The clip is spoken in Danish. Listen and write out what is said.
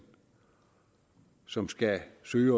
som skal søge